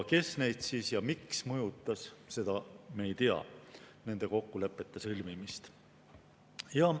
Kes neid ja miks mõjutas, seda me ei tea, nende kokkulepete sõlmimist.